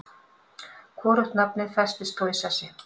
Hvorugt nafnið festist þó í sessi.